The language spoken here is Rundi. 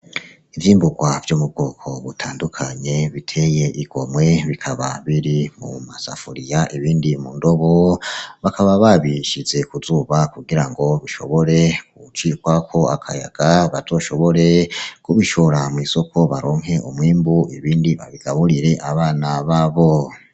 Ivyimburwa vyo mu bwoko butandukanye biteye igomwe, bikaba biri mu masafuriya ibindi mu ndobo, bakaba babishize ku zuba kugira ngo bishobore gucikwako akayaga, bazoshobore kubishora mw'isoko baronke umwimbu ibindi babigaburire abana babo.